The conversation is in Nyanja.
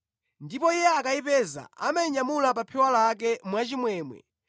Ndipo iye akayipeza, amayinyamula pa phewa lake mwachimwemwe